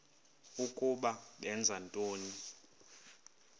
ukuba benza ntoni